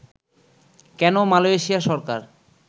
কেন মালয়েশিয়া সরকার